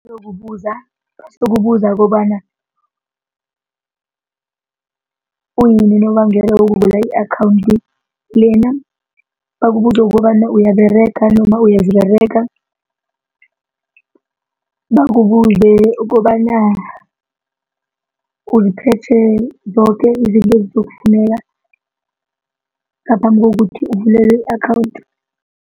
Bayokubuza bazokubuza kobana uyini unobangela wokuvula i-akhawundi lena, bakubuze ukobana uyaberega noma uyaziberega, bakubuze ukobana uziphethe zoke izinto ezizokufuneka ngaphambi kokuthi uvulelwe i-akhawundi.